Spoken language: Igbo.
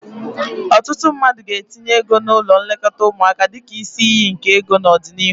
Ọtụtụ ndị mmadụ ga-etinye ego n'ụlọ nlekọta ụmụaka dịka isi iyi nke ego n'ọdịnihu.